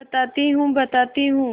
बताती हूँ बताती हूँ